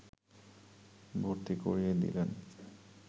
ভর্তি করিয়ে দিলেন